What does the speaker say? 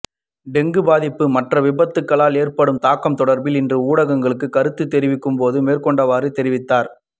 dengue பாதிப்பு மற்றும்விபத்துக்களால் ஏற்படும் தாக்கம் தொடர்பில் இன்று ஊடகங்களுக்கு கருத்து தெரிவிக்கும் போது மேற்கண்டவாறு தெரிவித்தார்